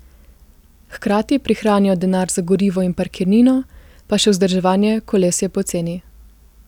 Hkrati prihranijo denar za gorivo in parkirnino, pa še vzdrževanje koles je poceni.